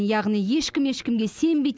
яғни ешкім ешкімге сенбейді